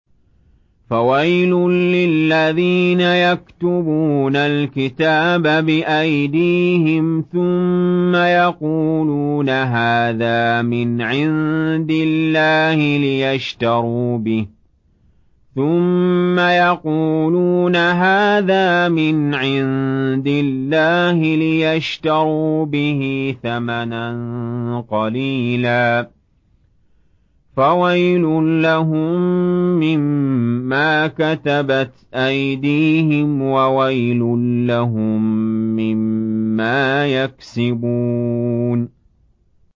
فَوَيْلٌ لِّلَّذِينَ يَكْتُبُونَ الْكِتَابَ بِأَيْدِيهِمْ ثُمَّ يَقُولُونَ هَٰذَا مِنْ عِندِ اللَّهِ لِيَشْتَرُوا بِهِ ثَمَنًا قَلِيلًا ۖ فَوَيْلٌ لَّهُم مِّمَّا كَتَبَتْ أَيْدِيهِمْ وَوَيْلٌ لَّهُم مِّمَّا يَكْسِبُونَ